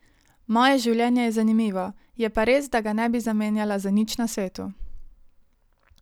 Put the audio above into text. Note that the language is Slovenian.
Moje življenje je zanimivo, je pa res, da ga ne bi zamenjala za nič na svetu.